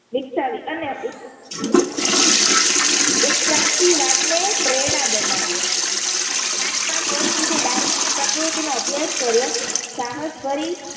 વિકસાવી અને ઉંટ ઉંટ ઉત્ક્રાંતિ વાદ ને પ્રેરણા બનાવીએ પાંચ પાંચ વર્ષ સુધી ડાર્વીને પ્રકૃતિ નો અભ્યાસ કર્યો સાહસ કરી